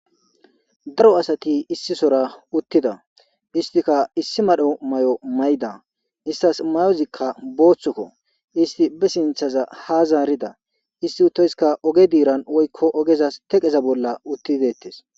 daro asati issisora uttida istika issi madho may7o may7da istas mayozikka booththokko isti be sinthaza haa zaarida issi uttoyskka oge diiran woykko ogezas teqeza bolla uttidettes